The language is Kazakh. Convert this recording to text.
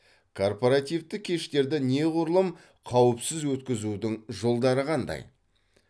корпоративтік кештерді неғұрлым қауіпсіз өткізудің жолдары қандай